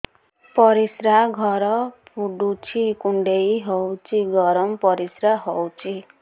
ପରିସ୍ରା ଘର ପୁଡୁଚି କୁଣ୍ଡେଇ ହଉଚି ଗରମ ପରିସ୍ରା ହଉଚି